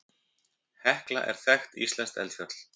Hekla er þekkt íslenskt eldfjall.